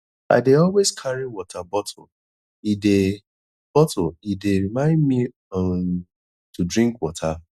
i dey always carry water bottle e dey bottle e dey remind me um to drink water